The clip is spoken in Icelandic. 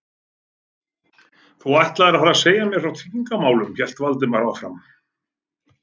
Þú ætlaðir að fara að segja mér frá tryggingamálunum- hélt Valdimar áfram.